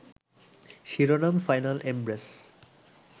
শিরোনাম final embrace